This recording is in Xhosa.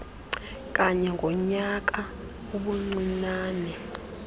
kanye ngonyaka ubuncinane